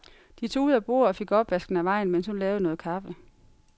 De tog ud af bordet og fik opvasken af vejen, mens hun lavede noget kaffe.